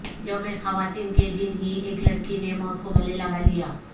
یوم خواتین کے دن ہی ایک لڑکی نے موت کو گلے لگالیا